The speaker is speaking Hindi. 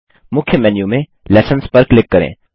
मुख्य मेन्यू में लेसन्स पर क्लिक करें